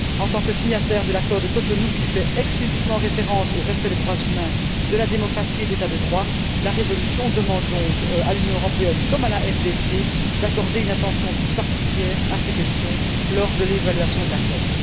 En tant que signataire de l'accord de Cotonou, qui fait explicitement référence au respect des droits humains, de la démocratie et de l'État de droit, la résolution demande donc à l'Union européenne comme à la RDC d'accorder une attention toute particulière à ces questions lors de l'évaluation de l'accord.